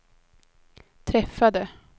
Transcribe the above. träffade